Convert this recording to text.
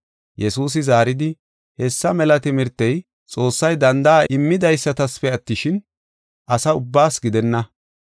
Yesuusi zaaridi, “Hessa mela timirtey Xoossay danda7a immidaysatasafe attishin, asa ubbaasa gidenna.